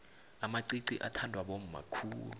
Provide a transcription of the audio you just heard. amaqiqi athandwa bomma khulu